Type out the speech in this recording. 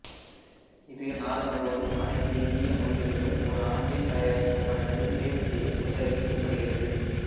இது நாடு முழுவதும் அனைத்து இந்திய மொழிகளிலும் ஒரு ஆண்டில் தயாரித்த படங்களில் தேர்வு செய்யப்பட்டு அறிவிக்கப்படுகிறது